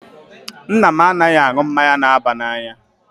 Nna m anaghị aṅụ mmanya na-aba n'anya.